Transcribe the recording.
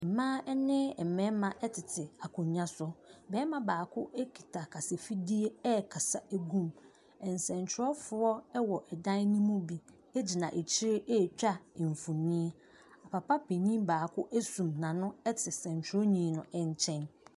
Mmaa ne mmarima tete akonnwa so. Barima baako kita kasafidie rekasa gu mu. Nsɛntwerɛfoɔ wɔ dan no mu bi gyina akyire retwa mfonin. Papa panin baako asum n'ano te nsɛntwerɛni no nkyɛn.